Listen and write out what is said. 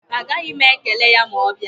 Agaghị m ekele ya ma ọ bịa.